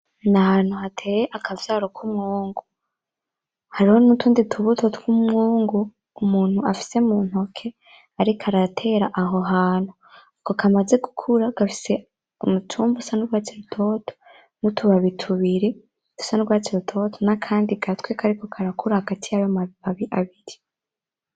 N'ahantu hateye akavyaro k'umwungu, hariho n'tutundi tubuto tw'Umungu umuntu afise muntoke ariko aratera aho hantu; ako kamaze gikura gafise umutumba usa n'urwatsi rutoto ,n'utubabi tubiri dusa n'urwatsi rutoto, n'akandi gatwe kariko karakura hagati yayo mababi abiri.